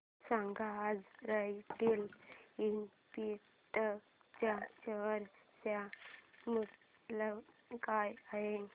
सांगा आज Royal Enfield च्या शेअर चे मूल्य काय आहे